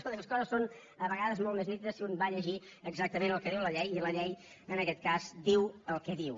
escolti les coses són a vegades molt més nítides si un va a llegir exactament el que diu la llei i la llei en aquest cas diu el que diu